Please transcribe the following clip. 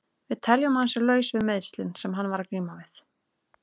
Við teljum að hann sé laus við meiðslin sem hann var að glíma við.